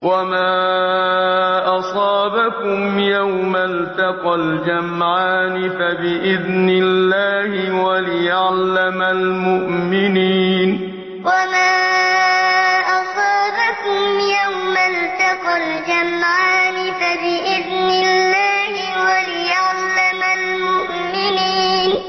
وَمَا أَصَابَكُمْ يَوْمَ الْتَقَى الْجَمْعَانِ فَبِإِذْنِ اللَّهِ وَلِيَعْلَمَ الْمُؤْمِنِينَ وَمَا أَصَابَكُمْ يَوْمَ الْتَقَى الْجَمْعَانِ فَبِإِذْنِ اللَّهِ وَلِيَعْلَمَ الْمُؤْمِنِينَ